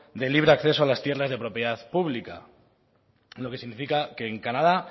de libre acceso a las tierras de propiedad pública lo que significa que en canadá